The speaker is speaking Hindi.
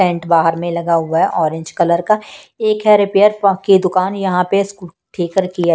पेंट बाहर में लगा हुआ हैऑरेंज कलर का एक हैरिपेयर की दुकान यहां पे सको ठेकर की है।